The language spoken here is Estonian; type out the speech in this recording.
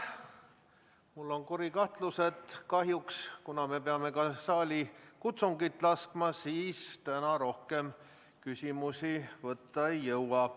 Mul on kuri kahtlus, et kuna me peame ka saalikutsungit laskma, siis kahjuks täna me rohkem küsimusi kuulata ei jõua.